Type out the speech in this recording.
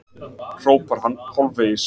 hrópar hann hálfvegis.